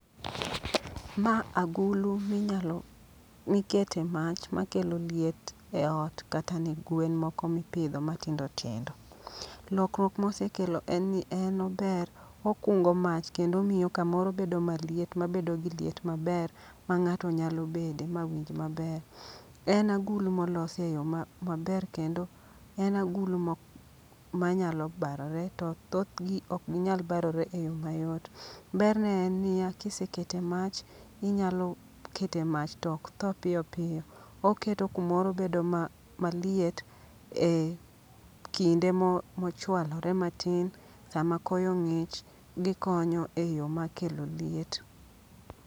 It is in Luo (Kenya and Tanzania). Ma agulu minyalo mikete mach ma kelo liet e ot kata ne gwen moko mipidho matindo tindo. Lokruok mosekelo en ni en ober, okungo mach kendo omiyo kamoro maliet mabedo gi liet maber ma ng'ato nyalo bede ma winj maber. En agulu molosi e yo maber kendo en agulu ma manyalo barore to thothgi ok ginyal barore e yo mayot. Ber ne en niya, kisekete mach, inyalo kete mach tok tho piyo piyo. Oketo kumoro bedo ma maliet e kinde mochwalore matin, sama koyo ng'ich gikonyo e yo makelo liet.